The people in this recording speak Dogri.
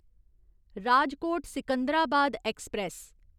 राजकोट सिकंदराबाद ऐक्सप्रैस